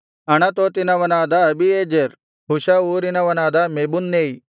ಅಣತೋತಿನವನಾದ Abiezer Husha ಊರಿನವನಾದ Mebunnai